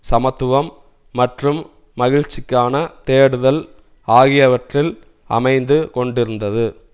சமத்துவம் மற்றும் மகிழ்ச்சிக்கான தேடுதல் ஆகியவற்றில் அமைந்து கொண்டிருந்தது